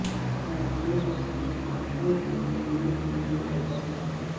موتیوں کو اپنے ہاتھوں سے جوڑنے کے لئے تجاویز